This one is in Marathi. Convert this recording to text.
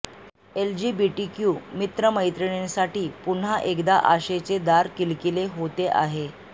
एल्जीबीटीक्यू मित्रमैत्रीणींसाठी पुन्हा एकदा आशेचे दार किलकिले होते आहे